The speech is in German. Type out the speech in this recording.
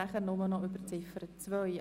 Wir sprechen nur noch über die Ziffer 2.